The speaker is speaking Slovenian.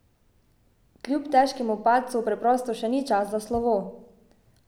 Kljub težkemu padcu preprosto še ni čas za slovo.